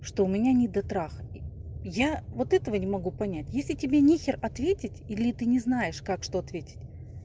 что у меня недотрах я вот этого не могу понять если тебе нехер ответить или ты не знаешь как что ответить